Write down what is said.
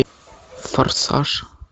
форсаж